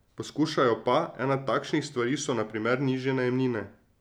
Poskušajo pa, ena takšnih stvari so na primer nižje najemnine.